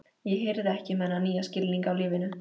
Ég hirði ekki um þennan nýja skilning á lífinu.